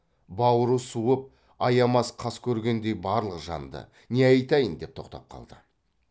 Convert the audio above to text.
бауры суып аямас қас көргендей барлық жанды не айтайын деп тоқтап қалды